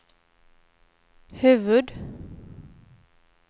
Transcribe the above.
huvud-